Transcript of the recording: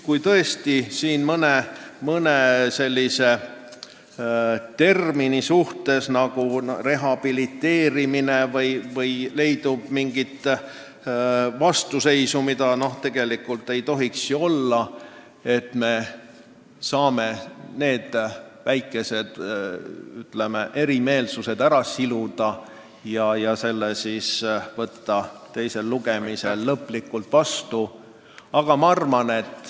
Kui tõesti siin ollakse mõne termini, näiteks "rehabiliteerimise" vastu – seda küll tegelikult ei tohiks olla –, siis me saame need väikesed erimeelsused ära siluda ja võtta meelepärase otsuse teisel lugemisel lõplikult vastu.